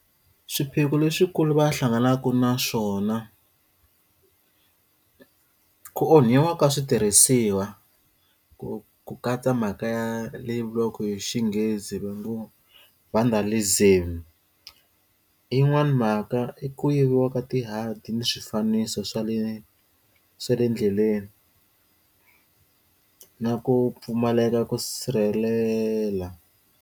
Swiphiqo leswikulu va hlanganaka na swona ku onhiwa ka switirhisiwa ku ku katsa mhaka ya le yi vuriwaka hi Xinghezi hi Xinghezi va ngo vandalism yi n'wani mhaka i ku yiviwa ka ti nghadi ni swifaniso swa le swa le endleleni na ku pfumaleka ku sirhelela.